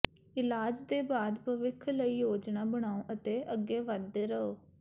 ਇਲਾਜ ਦੇ ਬਾਅਦ ਭਵਿੱਖ ਲਈ ਯੋਜਨਾ ਬਣਾਓ ਅਤੇ ਅੱਗੇ ਵਧਦੇ ਰਹੋ